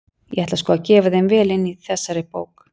Ég ætla sko að gefa þeim vel inn í þessari bók!